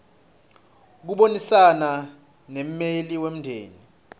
kubonisana nemmeli wemndeni